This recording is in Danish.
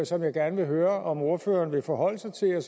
som jeg gerne vil høre om ordføreren vil forholde sig til og